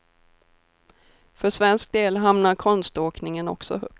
För svensk del hamnar konståkningen också högt.